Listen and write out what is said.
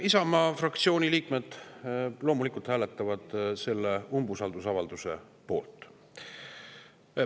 Isamaa fraktsiooni liikmed loomulikult hääletavad selle umbusaldusavalduse poolt.